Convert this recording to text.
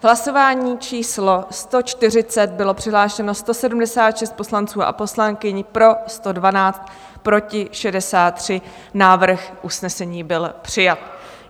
V hlasování číslo 140 bylo přihlášeno 176 poslanců a poslankyň, pro 112, proti 63, návrh usnesení byl přijat.